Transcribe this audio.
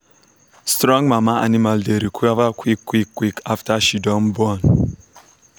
strong mama animal dey recover quick quick quick after she don born.